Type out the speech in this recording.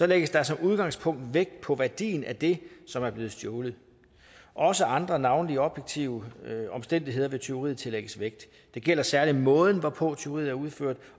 lægges der som udgangspunkt vægt på værdien af det som er blevet stjålet også andre navnlig objektive omstændigheder ved tyveriet tillægges vægt det gælder særlig måden hvorpå tyveriet er udført